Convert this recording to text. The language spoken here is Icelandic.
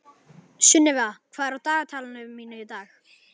Sunnefa, hvað er á dagatalinu mínu í dag?